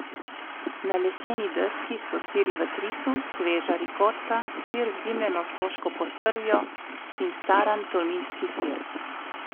Na leseni deski so siri v trisu, sveža rikota, sir z dimljeno soško postrvjo in staran tolminski sir.